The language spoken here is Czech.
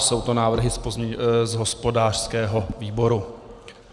Jsou to návrhy z hospodářského výboru.